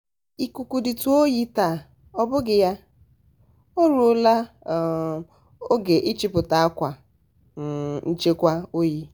ikuku dị tu oyi taa ọbughị ya? um o ruola um oge ịchipụta akwa um nchekwa oyi.